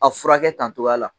A furakɛ tan cogoya la